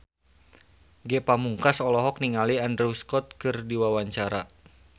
Ge Pamungkas olohok ningali Andrew Scott keur diwawancara